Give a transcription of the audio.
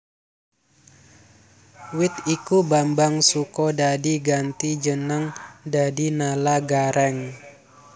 Wit iku Bambang Sukodadi ganti jeneng dadi Nala Garèng